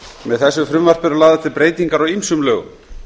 með frumvarpinu eru lagðar til breytingar á ýmsum lögum